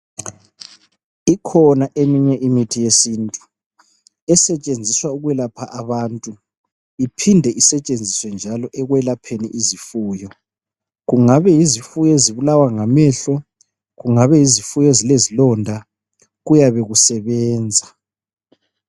Ikhona eminye imithi yesintu esetshenziswa ukwelapha abantu iphinde isetshenziswe njalo ekwelapheni izifuyo. Kungabe yizifuyo ezibulawa ngamehlo kungabe yizifuyo ezilezilonda kuyabe kusebenza.